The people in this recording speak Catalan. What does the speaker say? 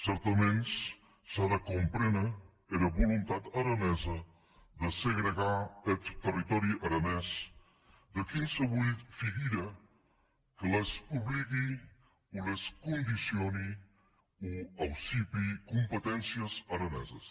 cèrtaments s’a de compréner era volontat aranesa de segregar eth territòri aranés de quinsevolh figura que les obligue o les condicione o aucupe competéncies araneses